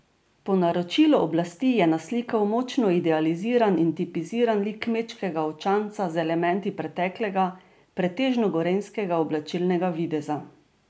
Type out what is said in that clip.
Po naročilu oblasti je naslikal močno idealiziran in tipiziran lik kmečkega očanca z elementi preteklega, pretežno gorenjskega oblačilnega videza.